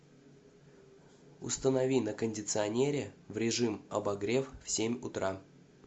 установи на кондиционере в режим обогрев в семь утра